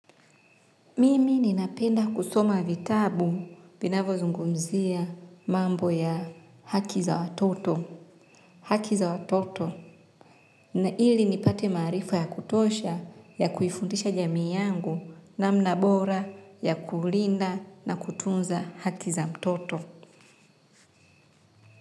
Mimi ninapenda kusoma vitabu vinavyozungumzia mambo ya haki za watoto. Haki za watoto ili nipate maarifa ya kutosha ya kuifundisha jamii yangu namna bora ya kulinda na kutunza haki za mtoto.